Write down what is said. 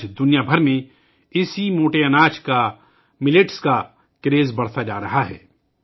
آج پوری دنیا میں اسی موٹے اناج کا ، جوار باجرے کا کریز بڑھتا جا رہا ہے